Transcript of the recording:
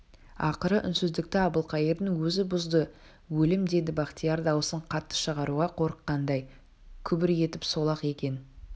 ақыры үнсіздікті әбілқайырдың өзі бұзды өлім деді бахтияр даусын қатты шығаруға қорыққандай күбір етіп сол-ақ екен